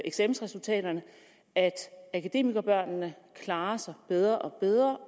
eksamensresultaterne at akademikerbørnene klarer sig bedre og bedre